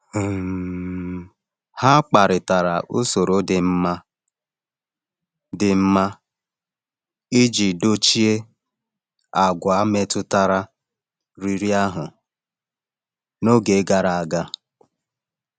um Ha kparịtara usoro dị mma dị mma iji dochie àgwà metụtara riri ahụ n’oge gara aga.